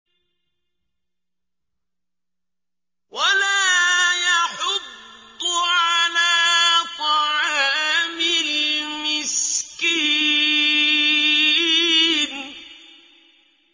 وَلَا يَحُضُّ عَلَىٰ طَعَامِ الْمِسْكِينِ